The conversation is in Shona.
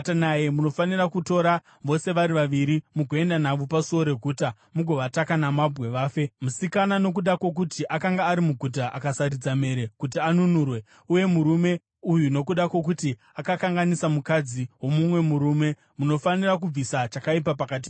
munofanira kutora vose vari vaviri mugoenda navo pasuo reguta mugovataka namabwe vafe, musikana nokuda kwokuti akanga ari muguta akasaridza mhere kuti anunurwe, uye murume uyu nokuda kwokuti akakanganisa mukadzi womumwe murume. Munofanira kubvisa chakaipa pakati penyu.